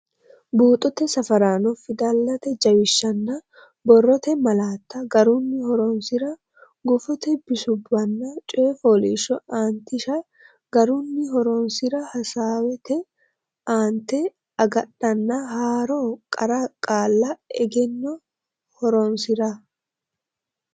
Buuxote Safaraano Fidalete jawishshanna borrote malaatta garunni horonsi’ra Gufote bisubbanna coy fooliishsho aantishsha garunni horonsi’ra Assaawete aante agadhanna haaro qara qaalla egenno horonsi’ra.